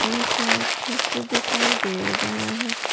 बहुत सारा खिड़की दिखाई दे रहा है।